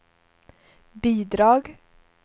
bidrag